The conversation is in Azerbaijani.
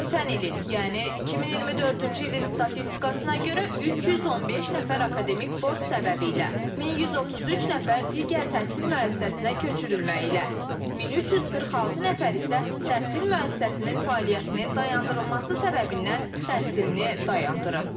Ötən ilin, yəni 2024-cü ilin statistikasına görə 315 nəfər akademik borc səbəbilə, 1133 nəfər digər təhsil müəssisəsinə köçürülməyi ilə, 1346 nəfər isə təhsil müəssisəsinin fəaliyyətinin dayandırılması səbəbindən təhsilini dayandırıb.